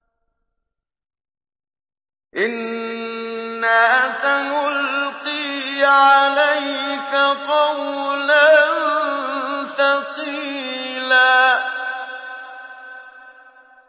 إِنَّا سَنُلْقِي عَلَيْكَ قَوْلًا ثَقِيلًا